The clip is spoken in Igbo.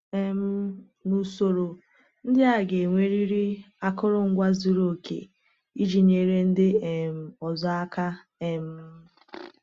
um N’usoro, ndị a ga-enwerịrị akụrụngwa zuru oke iji nyere ndị um ọzọ aka. um